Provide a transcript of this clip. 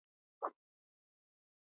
Hrafn krunkar nærri.